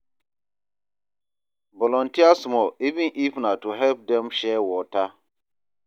Volunteer small, even if na to help dem share water.